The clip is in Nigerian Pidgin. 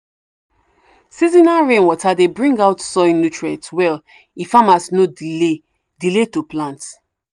seasonal rainwater dey bring out soil nutrients well if farmers no delay delay to plant.